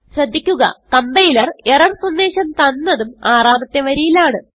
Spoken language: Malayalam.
ശ്രദ്ധിക്കുക compiler എറർ സന്ദേശം തന്നതും ആറാമത്തെ വരിയിലാണ്